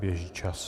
Běží čas.